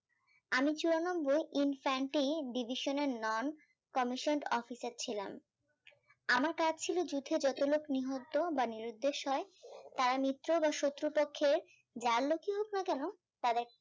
আমি চুরানব্বই infantry divisional non commission officer ছিলাম আমার কাজ ছিল যুদ্ধে যত লোক নিহত বা নিরুদ্দেশ হয় তারা মিত্র বা শত্রু পক্ষের যার লোকই হোক না কেন তাদের